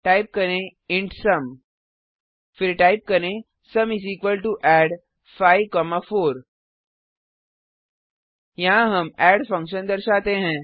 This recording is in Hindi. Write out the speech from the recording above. टाइप करें इंट सुम फिर टाइप करें sum add54 यहाँ हम एड फंक्शन दर्शाते हैं